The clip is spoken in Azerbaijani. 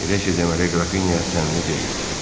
Elə şey deməli Grafinya səmimi deyil.